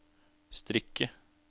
strikke